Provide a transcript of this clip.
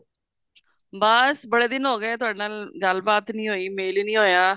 ਬੱਸ ਬੜੇ ਦਿਨ ਹੋ ਗਏ ਤੁਹਾਡੇ ਨਾਲ ਗਲਬਾਤ ਨੀ ਹੋਈ ਮੇਲ ਹੀ ਨਹੀਂ ਹੋਇਆ